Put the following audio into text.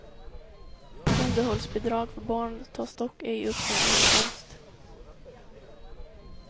Underhållsbidrag för barn tas dock ej upp som inkomst.